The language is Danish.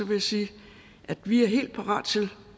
jeg sige at vi er helt parat til